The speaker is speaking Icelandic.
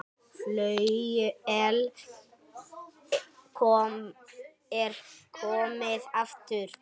Flauel er komið aftur.